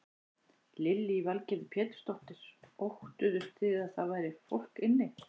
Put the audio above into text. Lillý Valgerður Pétursdóttir: Óttuðust þið að það væri fólk inni?